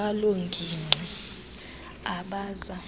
baloo ngingqi abaza